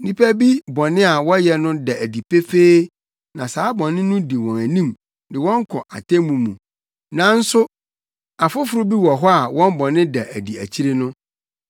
Nnipa bi bɔne a wɔyɛ no da adi pefee na saa bɔne no di wɔn anim de wɔn kɔ atemmu mu, nanso afoforo bi wɔ hɔ a wɔn bɔne da adi akyiri no.